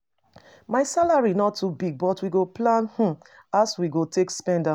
My salary no too big but we go plan um as we go take spend am.